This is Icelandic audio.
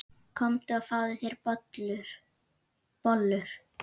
Komdu og fáðu þér bollur.